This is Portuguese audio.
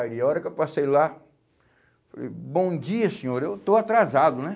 Ali a hora que eu passei lá, falei, bom dia, senhor, eu estou atrasado, né?